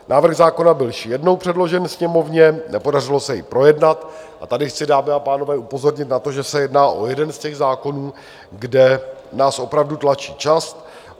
Návrh zákona byl již jednou předložen Sněmovně, nepodařilo se jej projednat a tady chci, dámy a pánové, upozornit na to, že se jedná o jeden z těch zákonů, kde nás opravdu tlačí čas.